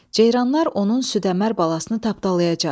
Ceyranlar onun südəmər balasını tapdalayacaq.